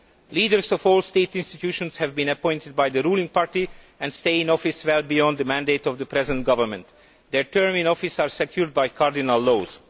Leaders of all state institutions have been appointed by the ruling party and will stay in office well beyond the mandate of the present government. Their term in office is secured by cardinal laws.